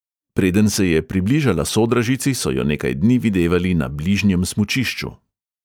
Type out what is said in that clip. Preden se je približala sodražici, so jo nekaj dni videvali na bližnjem smučišču.